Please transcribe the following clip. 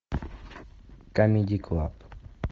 камеди клаб